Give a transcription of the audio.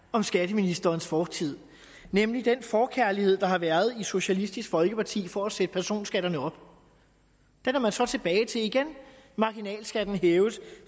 om skatteministerens fortid nemlig den forkærlighed der har været i socialistisk folkeparti for at sætte personskatterne op den er man så gået tilbage til igen marginalskatterne hæves